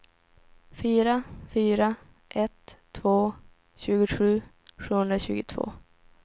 fyra fyra ett två tjugosju sjuhundratjugotvå